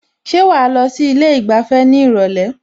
Ṣé wàá lọ sí ilé ìgbafẹ́ ní ìrọ̀lẹ́?